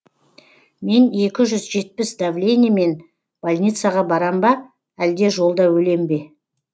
мен екі жүз жетпіс давлениемен больницаға барам ба әлде жолда өлем бе